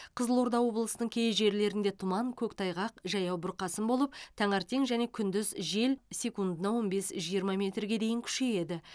қызылорда облысының кей жерлерінде тұман көктайғақ жаяу бұрқасын болып таңертең және күндіз жел секундына он бес жиырма метрге дейін күшейеді